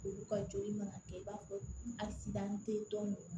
Olu ka joli mana kɛ i b'a fɔ